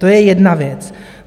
To je jedna věc.